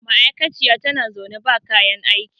ma'aikaciya tana zaune ba kayan aiki